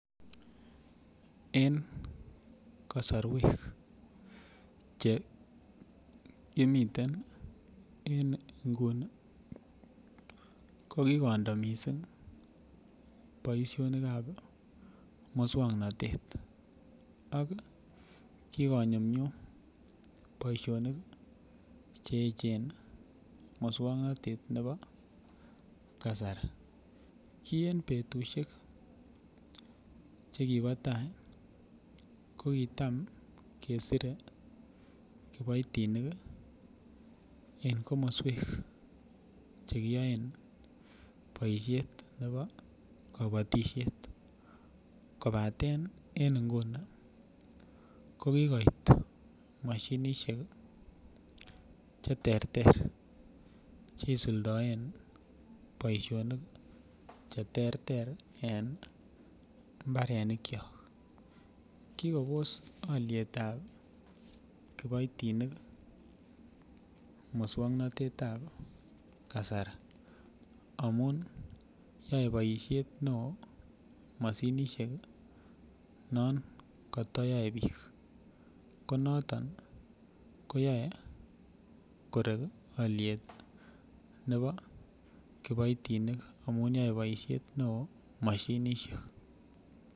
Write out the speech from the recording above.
En kasorwek che imiten en Nguni kokikondo mising boishonikab muswoknotet ak kikonyumnyum boishonik cheechen muswoknotet bebo kasari kiyen betushike chekibo taa kokitam kesire kiboitinik en komoswek chekiyoen boishet nepo kopotishet kopaten en Nguni kokikoit moshinisheki cheterter cheisuldoen boishonik cheterter en mbarenikyok kikobos olietab kiboitinik muswoknotetab kasari amun yoee boishet neoo moshinisheki non kotoyoe biik konotoni koyoe korek oliet nebo kipoitinik amun yoee boishet neoo moshinishek